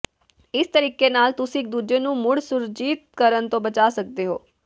ਇਸ ਤਰੀਕੇ ਨਾਲ ਤੁਸੀਂ ਇਕ ਦੂਜੇ ਨੂੰ ਮੁੜ ਸੁਰਜੀਤ ਕਰਨ ਤੋਂ ਬਚਾ ਸਕਦੇ ਹੋ